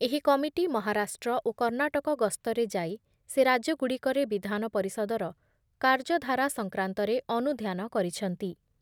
ଏହି କମିଟି ମହାରାଷ୍ଟ୍ର ଓ କର୍ଣ୍ଣାଟକ ଗସ୍ତରେ ଯାଇ ସେ ରାଜ୍ୟଗୁଡ଼ିକରେ ବିଧାନପରିଷଦର କାର୍ଯ୍ୟଧାରା ସଂକ୍ରାନ୍ତରେ ଅନୁଧ୍ୟାନ କରିଛନ୍ତି ।